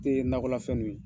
I ye nakɔlafɛnnu ye ?